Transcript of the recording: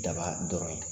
Daba dɔrɔn ye